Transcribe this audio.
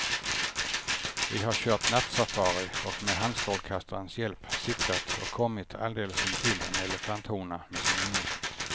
Vi har kört nattsafari och med handstrålkastarens hjälp siktat och kommit alldeles intill en elefanthona med sin unge.